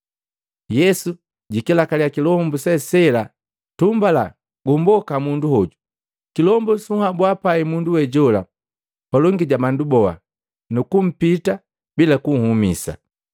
Yesu jikilakalya kilombu se sela, “Tumbala! Gumboka mundu hoju!” Kilombu suhabua pai mundu we jola palongi ja bandu boha, nukumpita bila kunhumisa.